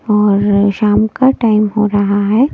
और शाम का टाइम हो रहा है।